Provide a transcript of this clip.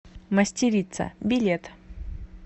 мастерица билет